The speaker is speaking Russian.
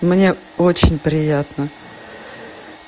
мне очень приятно